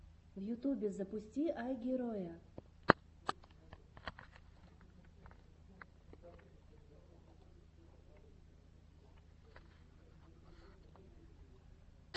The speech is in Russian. в ютубе запусти айгероя